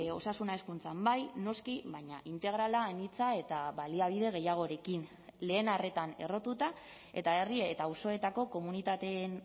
osasuna hezkuntzan bai noski baina integrala anitza eta baliabide gehiagorekin lehen arretan errotuta eta herri eta auzoetako komunitateen